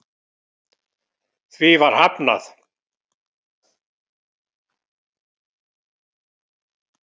Því var hafnað